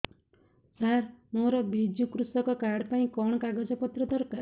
ସାର ମୋର ବିଜୁ କୃଷକ କାର୍ଡ ପାଇଁ କଣ କାଗଜ ପତ୍ର ଦରକାର